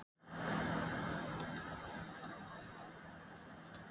Þjóðverja í Vestmannaeyjum.